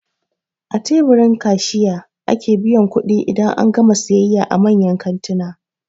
A teburin kasiyha ake biyan kuɗi idan an gama siyayya a manyan kantuna